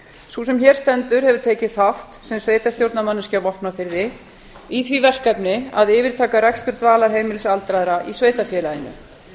sú sem hér stendur hefur tekið þátt sem sveitarstjórnarmanneskja á vopnafirði í því verkefni að yfirtaka rekstur dvalarheimilis aldraðra í sveitarfélaginu